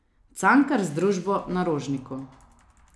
Cankar z družbo na Rožniku.